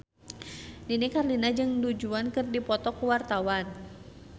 Nini Carlina jeung Du Juan keur dipoto ku wartawan